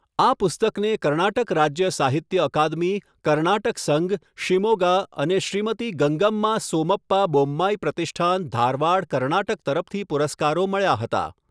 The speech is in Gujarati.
આ પુસ્તકને કર્ણાટક રાજ્ય સાહિત્ય અકાદમી, કર્ણાટક સંઘ, શિમોગા અને શ્રીમતી ગંગામ્મા સોમપ્પા બોમ્માઈ પ્રતિષ્ઠાન, ધારવાડ, કર્ણાટક તરફથી પુરસ્કારો મળ્યા હતા.